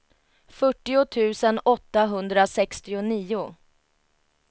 fyrtio tusen åttahundrasextionio